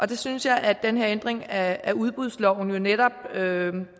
det synes jeg at den her ændring af udbudsloven jo netop